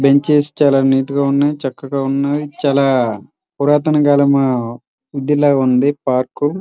Benches చాలా neat గా ఉన్నాయి. చక్కగా ఉన్నాయి. చాలా పురాతన కాలం ఉంది పార్కు .